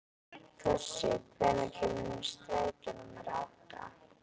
Þossi, hvenær kemur strætó númer átta?